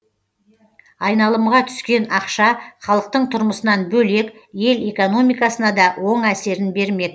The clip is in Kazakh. айналымға түскен ақша халықтың тұрмысынан бөлек ел экономикасына да оң әсерін бермек